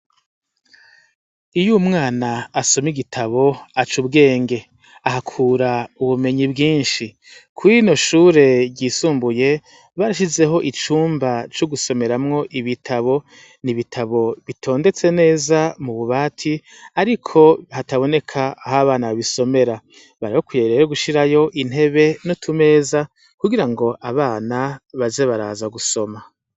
Iyo umwana asoma igitabo aca ubwenge, ahakura ubumenyi bwinshi, kuri rino shure ryisumbuye barashizeho icumba co gusomeramwo ibitabo, n'ibitabo bitondetse neza mu bubati ariko hataboneka aho abana babisomera, bari bakwiye rero gushirayo intebe n'utumeza kugira ngo abana baze baraza gusoma.